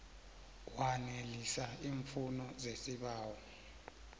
wanelisa iimfuno zesibawo